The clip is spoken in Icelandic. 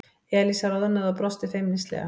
Elísa roðnaði og brosti feimnislega.